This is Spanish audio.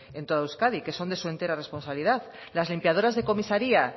en todo euskadi que son de su entera responsabilidad las limpiadoras de comisaria